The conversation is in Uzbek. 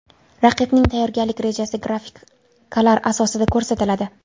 Raqibning tayyorgarlik rejasi grafikalar asosida ko‘rsatiladi.